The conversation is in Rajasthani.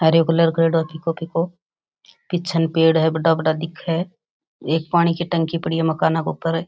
हरियो कलर करेडो है फीको फीको पिछन पेड़ है बड़ा बड़ा दिखे है एक पानी की टंकी पड़ी है मकाना के ऊपर।